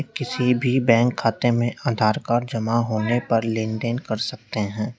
किसी भी बैंक खाते में आधार कार्ड जमा होने पर लेनदेन कर सकते है।